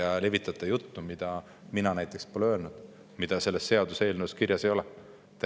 Te levitate juttu, mida mina pole öelnud ja mida selles seaduseelnõus kirjas ei ole.